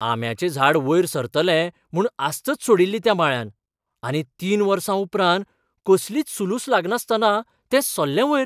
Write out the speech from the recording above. आंब्याचें झाड वयर सरतलें म्हूण आस्तच सोडिल्ली त्या माळ्यान, आनी तीन वर्सां उपरांत कसलीच सुलूस लागनासतना तें सरलें वयर!